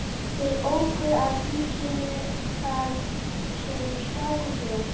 Þeir óku að húsinu þar sem strákurinn bjó.